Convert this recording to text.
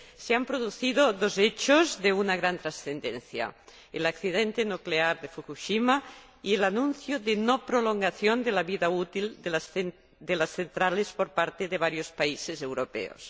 se han producido dos hechos de una gran trascendencia el accidente nuclear de Fukushima y el anuncio de no prolongación de la vida útil de las centrales por parte de varios países europeos.